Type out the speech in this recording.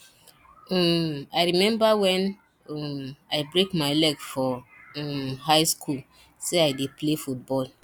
um i remember wen um i break my leg for um high school say i dey play football